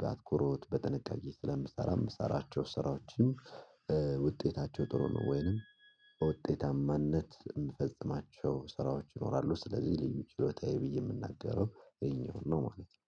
በአትኩሮት በጥንቃቄ ስለምሰራ የምሰራቸው ስራዎችን ውጤታቸው ጥሩ ነው ወይንም በውጤታማነት የምፈጽማቸው ስራዎች ይኖራሉ። ስለዚህ ልዩ ችሎታ ብዬ የምናገረው ይሄኛውን ነው ማለት ነው